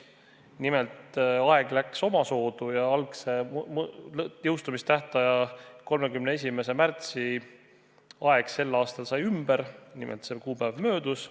Nimelt, aeg läks omasoodu ja algse jõustumistähtaja, 31. märtsi aeg sai sel aastal ümber, nimelt see kuupäev möödus.